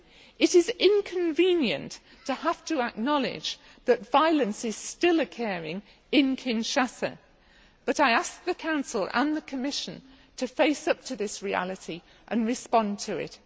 It is inconvenient to have to acknowledge that violence is still occurring in Kinshasa, but I ask the Council and the Commission to face up to this reality and to respond to it.